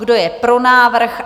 Kdo je pro návrh?